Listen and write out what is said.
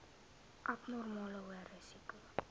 abnormale hoë risiko